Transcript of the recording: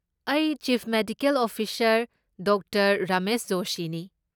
ꯑꯩ chief medical officer doctor Ramesh ꯖꯣꯁꯤꯅꯤ꯫